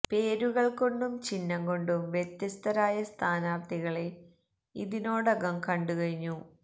പേരുകൾ കൊണ്ടും ചിഹ്നം കൊണ്ടും വ്യത്യസ്തരായ സ്ഥാനാർത്ഥികളെ ഇതിനോടകം കണ്ടു കഴിഞ്ഞു